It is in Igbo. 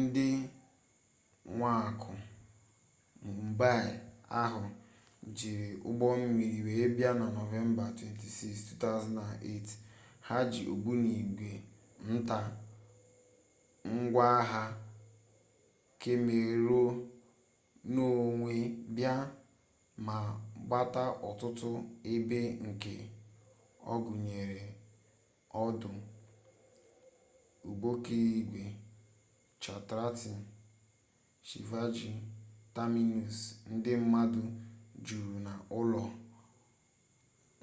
ndị mwakpọ mumbaị ahụ jiri ụgbọmmiri wee bịa na nọvemba 26 2008 ha ji ogbunigwe nta ngwaagha kemmerenonwe bịa ma gbata ọtụtụ ebe nke gụnyere ọdụ ụgbọokporoigwe chhatrapati shivaji terminus ndi mmadu juru na ụlọ